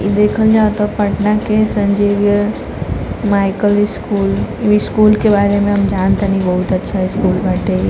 देखल जात हौपटना के saint Xavier's Michael school school के बारे में हम जानत आनी बहुत अच्छा स्कूल बाटे।